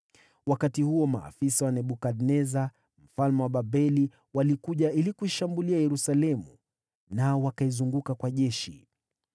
Wakati huo, maafisa wa Nebukadneza mfalme wa Babeli walikuja ili kuishambulia Yerusalemu, nao wakaizunguka kwa jeshi.